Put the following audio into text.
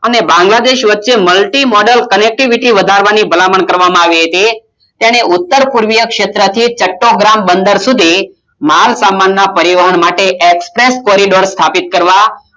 અને બાંગ્લાદેશ વચ્ચે મળતી Model Connectivity વધારવા ની ભલામણ કરવા માં આવી હતી અને ઉત્તરપૂર્વી શેત્ર થી ચકાભર બંદર સુધી માલસામાન ના પરિવહન માટે Express Coridoor સ્થાપિત કરવા કરવા